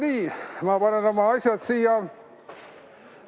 Nii, ma panen oma asjad siia.